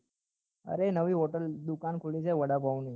અરે નવી hotel દુકાન ખુલી છે વડાપાઉં ની